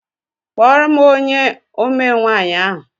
Kpọọ ónyé omee nwaanyị ahụ!!